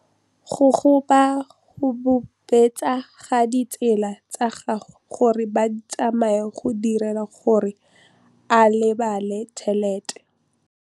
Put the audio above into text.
Go gobagobetsa ga ditsala tsa gagwe, gore ba tsamaye go dirile gore a lebale tšhelete.